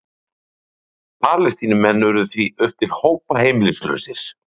Palestínumenn urðu því upp til hópa heimilislausir.